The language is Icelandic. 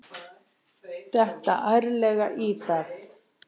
Detta ærlega í það.